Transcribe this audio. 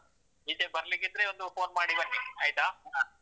ಈಚೆ ಬರ್ಲಿಕ್ಕಿದ್ರೆ ಒಂದು phone ಮಾಡಿ ಬನ್ನಿ, ಆಯ್ತಾ?